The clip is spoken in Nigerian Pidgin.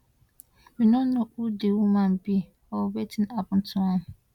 we no know who di woman be or wetin happun to am